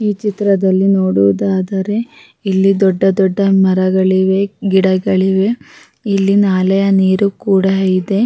ಈ ಚಿತ್ರದಲ್ಲಿ ನೋಡುವುದಾದರೆ ಇಲ್ಲಿ ದೊಡ್ಡ ದೊಡ್ಡ ಮರಗಳಿವೆ ಗಿಡಗಳಿವೆ ಇಲ್ಲಿ ನಾಲೆಯ ನೀರು ಕೂಡ ಇದೆ.